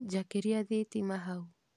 Njakĩria thitima hau